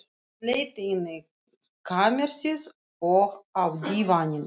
Hún leit inn í kamersið, og á dívaninn.